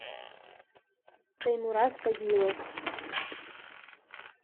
таймураз пазилов